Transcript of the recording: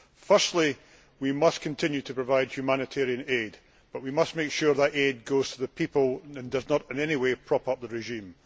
Firstly, we must continue to provide humanitarian aid, but we must make sure that aid goes to the people and does not in any way prop up the regime.